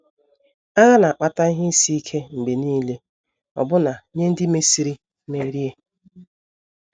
Agha na - akpata ihe isi ike mgbe nile, ọbụna nye ndị mesịrị merie.